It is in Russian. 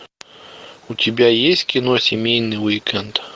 у тебя есть кино семейный уикенд